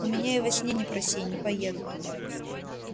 у меня и во сне не проси не поеду